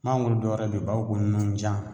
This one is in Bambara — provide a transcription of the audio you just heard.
Mangoro dɔwɛrɛ be wɛrɛ o b'a fɔ a ma ko nunjan